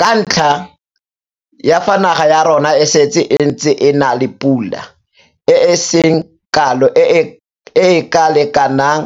ka ntlha ya fa naga ya rona e setse e ntse e na le pula e e seng kalo e e ka lekanang